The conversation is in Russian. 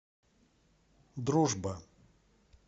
дружба